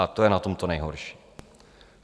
A to je na tom to nejhorší.